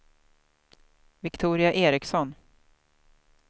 Viktoria Ericsson